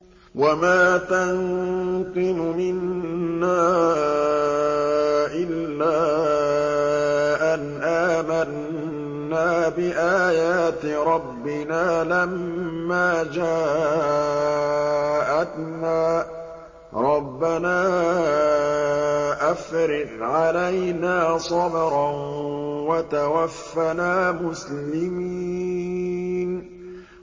وَمَا تَنقِمُ مِنَّا إِلَّا أَنْ آمَنَّا بِآيَاتِ رَبِّنَا لَمَّا جَاءَتْنَا ۚ رَبَّنَا أَفْرِغْ عَلَيْنَا صَبْرًا وَتَوَفَّنَا مُسْلِمِينَ